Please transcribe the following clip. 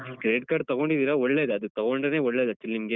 So, Credit Card ತಗೊಂಡಿದ್ದೀರಾ ಒಳ್ಳೇದೆ ಅದು ತಗೊಂಡ್ರೇನೆ ಒಳ್ಳೇದು actually ನಿಮ್ಗೆ.